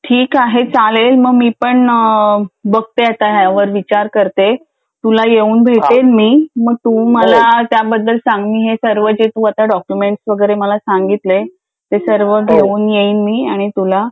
बरं ठीक आहे चालेल मग मी पण बघते ह्यावर विचार करते तुला येऊन भेटेन मी मग तू मला सर्व ह्याबद्दल सांग तू आता सर्व डॉक्युमेंट्स वैगरे सांगितले ते मी आता सर्व घेऊन येईन मी आणि तुला